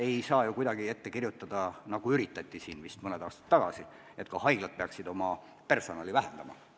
Ei saa ju kuidagi ette kirjutada, nagu vist mõni aasta tagasi üritati, et ka haiglad peaksid oma personali vähendama.